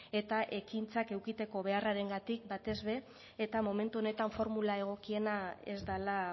eta ekintzak edukitzeko beharrarengatik batez ere eta momentu honetan formula egokiena ez dela